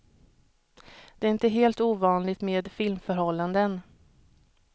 Det är inte helt ovanligt med filmförhållanden.